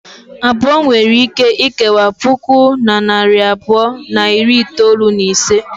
Abụọ nwere ike ikewa puku na narị abụọ na iri itolu na isii.